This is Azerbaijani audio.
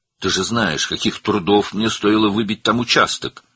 Sən bilirsən ki, orada torpaq sahəsi əldə etmək mənə nə qədər zəhmətə başa gəlib."